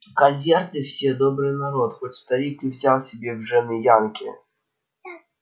калверты все добрый народ хоть старик и взял себе в жены янки